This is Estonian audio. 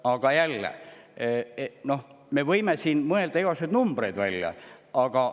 Aga jällegi, me võime siin igasuguseid numbreid välja mõelda.